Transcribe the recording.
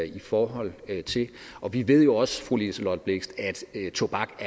i forhold til og vi ved jo også fru liselott blixt at tobak